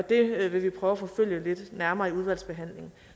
det vil vi prøve at forfølge lidt nærmere i udvalgsbehandlingen